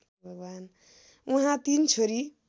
उहाँ तीन छोरी